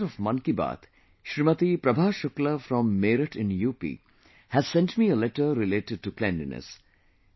a listener of 'Mann Ki Baat', Shrimati Prabha Shukla from Meerut in UP has sent me a letter related to cleanliness